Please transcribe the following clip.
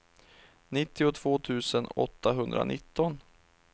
nittiotvå tusen åttahundranitton